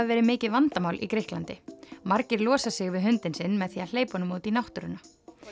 verið mikið vandamál í Grikklandi margir losa sig við hundinn sinn með því að hleypa honum út í náttúruna